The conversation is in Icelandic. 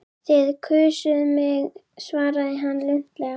Þið kusuð mig svaraði hann luntalega.